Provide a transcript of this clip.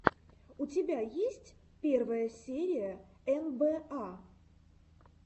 у тебя есть первая серия эн бэ а